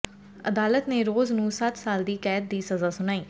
ਅਦਾਲਤ ਨੇ ਰੋਜ਼ ਨੂੰ ਸੱਤ ਸਾਲ ਦੀ ਕੈਦ ਦੀ ਸਜ਼ਾ ਸੁਣਾਈ